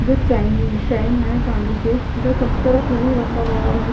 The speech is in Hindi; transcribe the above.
जो चाइनिंग चैन है चांदी के जो सब तरफ रखा गया है।